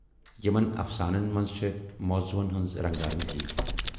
یِمن اَفسانَن منز چھے موضوٗہن ہٕنز رنگا رنگی۔